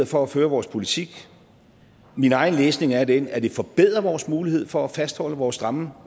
for at føre vores politik min egen læsning er den at det forbedrer vores mulighed for at fastholde vores stramme